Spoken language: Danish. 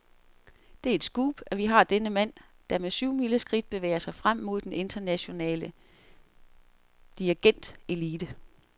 Det er et scoop, at vi har denne mand, der med syvmileskridt bevæger sig frem mod den internationale dirigentelite.